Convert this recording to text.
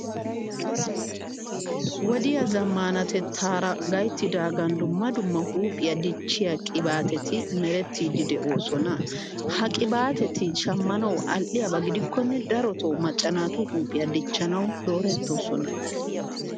Wodiya zammaanatettaara gayttidaagan dumma dumma huuphiya dichchiya qibaateti merettiiddi de'oosona. Ha qibaateti shammanawu al"iyaba gidikkonne darotoo macca naatu huuphiya dichchanawu doorettoosona.